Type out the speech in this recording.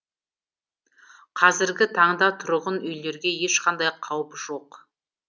қазіргі таңда тұрғын үйлерге ешқандай қауіп жоқ